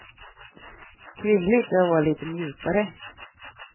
Kvinnligt är att vara lite mjukare.